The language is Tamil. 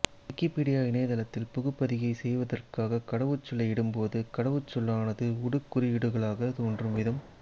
விக்கிப்பீடியா இணையத்தளத்தில் புகுபதிகை செய்வதற்காகக் கடவுச் சொல்லை இடும்போது கடவுச் சொல்லானது உடுக் குறியீடுகளாகத் தோன்றும் விதம்